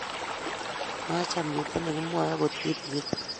maacham kito ne kimwoe akot kitegen